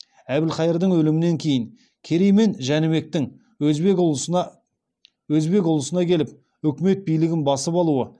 әбілхайырдың өлімінен кейін керей мен жәнібектің өзбек ұлысына келіп үкімет билігін басып алуы